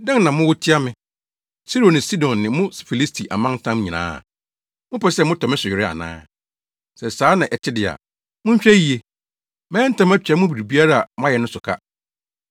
“Dɛn na mowɔ tia me, Tiro ne Sidon ne mo Filisti amantam nyinaa? Mopɛ sɛ motɔ me so were ana? Sɛ saa na ɛte de a, monhwɛ yiye. Mɛyɛ ntɛm, atua mo biribiara a moayɛ no so ka.